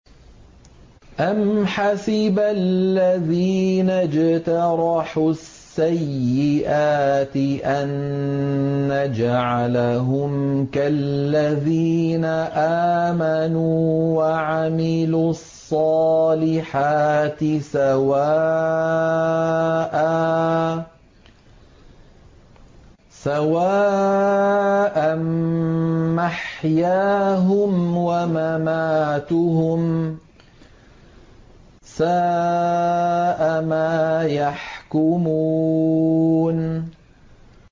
أَمْ حَسِبَ الَّذِينَ اجْتَرَحُوا السَّيِّئَاتِ أَن نَّجْعَلَهُمْ كَالَّذِينَ آمَنُوا وَعَمِلُوا الصَّالِحَاتِ سَوَاءً مَّحْيَاهُمْ وَمَمَاتُهُمْ ۚ سَاءَ مَا يَحْكُمُونَ